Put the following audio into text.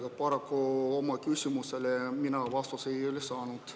Aga paraku oma küsimusele mina vastust ei saanud.